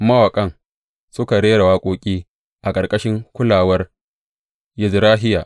Mawaƙan suka rera waƙoƙi a ƙarƙashin kulawar Yezrahiya.